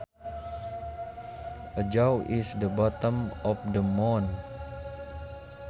A jaw is the bottom of the mouth